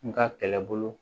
N ka kɛlɛbolo